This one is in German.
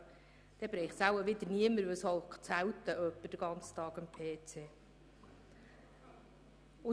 Dann wird es wohl niemanden treffen, denn es gibt selten jemanden, der den ganzen Tag am PC sitzt.